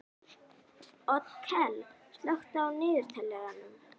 Otkell, slökktu á niðurteljaranum.